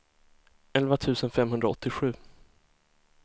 elva tusen femhundraåttiosju